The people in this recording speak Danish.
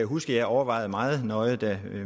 huske at jeg overvejede meget nøje da